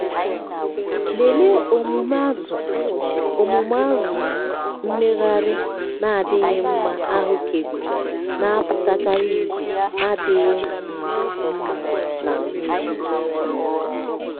lelee omume azụ - omume azụ - mmegharị na-adịghị ahụkebe na-apụtakarị ihe adịghị um mma na mmiri. um